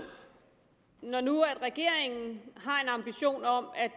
når nu regeringen har en ambition om at